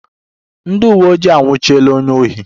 Ndị uweojii anwụchiela onye ohi